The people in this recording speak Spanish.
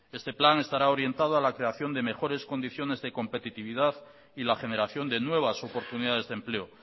este plan estará orientado a la creación de mejores condiciones de competitividad y la generación de nuevas oportunidades de empleo